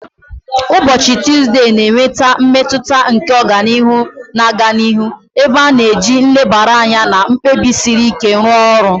Ụbọchị Tuzdee na-eweta mmetụta nke ọganihu na-aga n'ihu, ebe a na-eji nlebara anya na mkpebi siri ike rụọ ọrụ